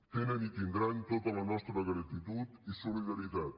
tenen i tindran tota la nostra gratitud i solidaritat